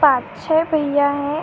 पाँच छ भईया हैं |